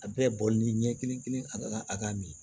A bɛɛ bɔlen ɲɛ kelen kelen a bɛɛ ka a ka mi